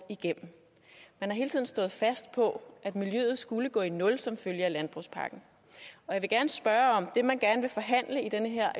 igennem man har hele tiden stået fast på at miljøet skulle gå i nul som følge af landbrugspakken og jeg vil gerne spørge om det man gerne vil forhandle i den her